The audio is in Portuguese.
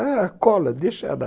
Ah, cola, deixa lá.